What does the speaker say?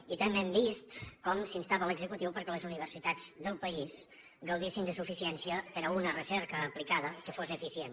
i també hem vist com s’instava l’executiu perquè les universitats del país gaudissin de suficiència per a una recerca aplicada que fos eficient